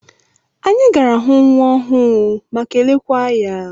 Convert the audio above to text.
Anyị gara hụ nwa ọhụụ ma kelekwaa ya.